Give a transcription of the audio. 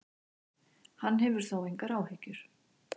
Hann hefur þó engar áhyggjur.